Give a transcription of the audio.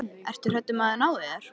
Ertu hræddur um að þeir nái þér?